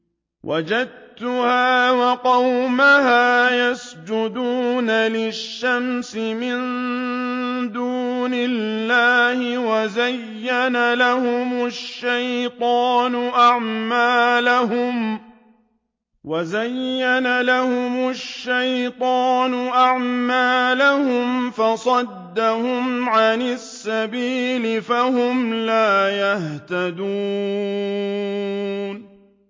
وَجَدتُّهَا وَقَوْمَهَا يَسْجُدُونَ لِلشَّمْسِ مِن دُونِ اللَّهِ وَزَيَّنَ لَهُمُ الشَّيْطَانُ أَعْمَالَهُمْ فَصَدَّهُمْ عَنِ السَّبِيلِ فَهُمْ لَا يَهْتَدُونَ